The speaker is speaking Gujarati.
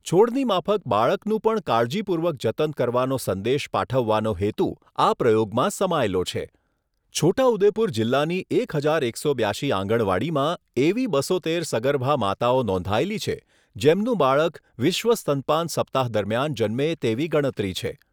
છોડની માફક બાળકનું પણ કાળજીપૂર્વક જતન કરવાનો સંદેશ પાઠવવાનો હેતુ આ પ્રયોગમાં સમાયેલો છે, છોટાઉદેપુર જિલ્લાની એક હજાર એકસો બ્યાશી આંગણવાડીમાં એવી બસો તેર સગર્ભા માતાઓ નોંધાયેલી છે જેમનું બાળક વિશ્વ સ્તનપાન સપ્તાહ દરમિયાન જન્મે તેવી ગણતરી છે.